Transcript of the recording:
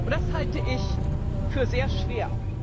Das halte ich für sehr schwer.